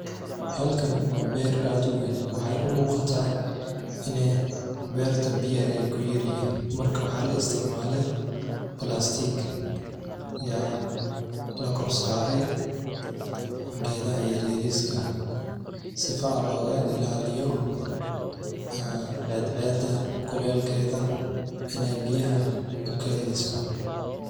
Halkani wa beer aad uweyn, waxay umuquta ina berta biyaha ay kuyaryihin marka waxa laistacmalay plastik ya lakorsaray, gedaha yaryariska sifa loga ilaliyo cad ceda kuleil keda inay biyaha ukedhiso.